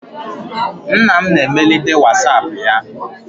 Nna m na emelite whatsapp ya.